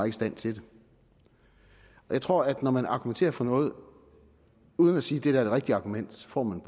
i stand til det jeg tror at når man argumenterer for noget uden at sige det der er det rigtige argument får man